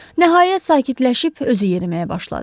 Nəhayət, sakitləşib özü yeriməyə başladı.